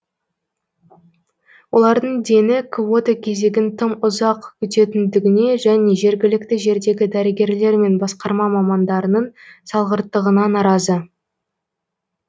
олардың дені квота кезегін тым ұзақ күтетіндігіне және жергілікті жердегі дәрігерлер мен басқарма мамандарының салғырттығына наразы